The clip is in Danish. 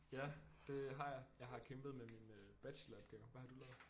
Ja det har jeg jeg har kæmpet med min øh bacheloropgave hvad har du lavet